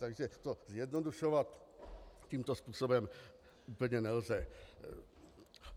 Takže to zjednodušovat tímto způsobem úplně nelze.